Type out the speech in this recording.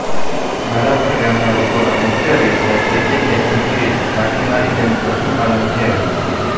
બાલાપર ગામના લોકોનો મુખ્ય વ્યવસાય ખેતી ખેતમજૂરી માછીમારી તેમ જ પશુપાલન છે